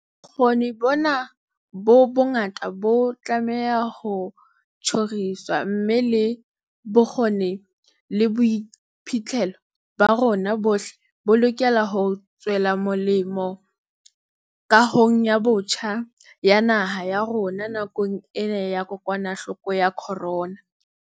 Bokgoni bona bo bongata bo tlameha ho tjhoriswa, mme le bokgoni le boiphihlelo ba rona bohle bo lokela hore tswela molemo kahongbotjha ya naha ya rona nakong ena ya kokwanahloko ya corona.